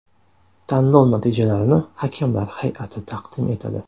Tanlov natijalarini hakamlar hay’ati taqdim etadi.